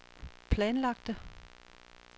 planlagte